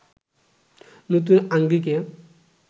নতুন আঙ্গিকে